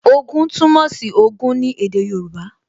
Ogún túmọ̀ sí Ogún ní èdè Yorùbá